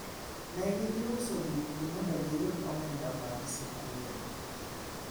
negi dhi uso gik gi mondo giyud omenda mag sikul